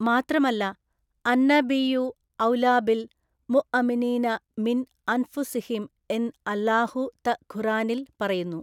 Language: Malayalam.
മാത്രമല്ല അന്നബിയ്യു ഔലാബിൽ മുഅമിനീന മിൻ അൻഫുസിഹിം എന് അല്ലാഹു ത ഖുർആനിൽ പറയുന്നു.